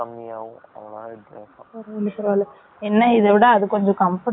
பரவால பரவால, என்ன இதை விட, அது கொஞ்சம் comfortable ஆவும் இருக்கும் இல்லையா